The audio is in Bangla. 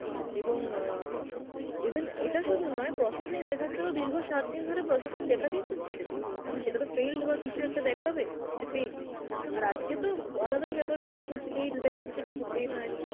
এবং অ্যাঁ even ইটা সুধু নয় processing দেখাচ্ছে তো দীর্ঘ সাতদিন ধরে processing দেখাতেই থাকছে, সেটাতো failed বা কিছু একটা দেখাবে, যে paid, আর আজকে তো আলাদাই বেপার হয়েছে যে paid দেখাচ্ছে কিন্তু paid হয়েনি